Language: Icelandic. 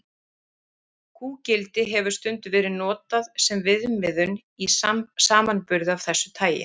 Kúgildi hefur stundum verið notað sem viðmiðun í samanburði af þessu tagi.